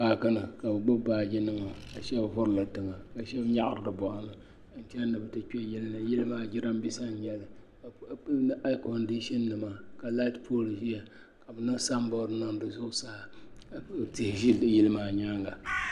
Paaki ni ka bi gbubi baaji nima ka shaba vuri li tiŋa ka shaba nyaɣi bi bɔɣini ka bi chana ni bi ti kpɛ yili ni yili maa jiranbiisa n nyɛli aɛkondishin nima ka laati pool ʒiya ka bi niŋ sanbɔri niŋ di zuɣu saa ka tihi ʒi yili maa nyaanga.